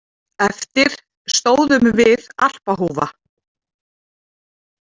Eftir stóðum við Alpahúfa.